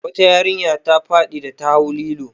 Wata yarinya ta faɗi da ta hau lilo.